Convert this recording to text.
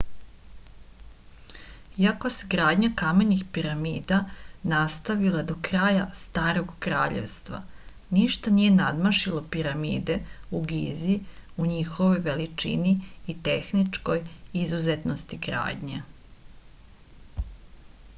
iako se gradnja kamenih piramida nastavila do kraja starog kraljevstva ništa nije nadmašilo piramide u gizi u njihovoj veličini i tehničkoj izuzetnosti gradnje